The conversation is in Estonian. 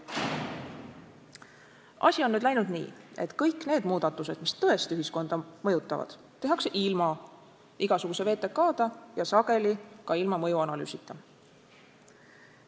Asi on nüüd läinud nii, et kõik need muudatused, mis tõesti ühiskonda mõjutavad, tehakse ilma igasuguse VTK-ta ja sageli ka ilma mõjuanalüüsita.